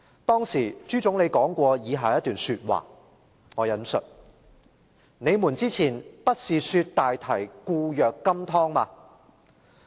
當時朱總理說過以下一番話："你們之前不是說大堤固若金湯嗎？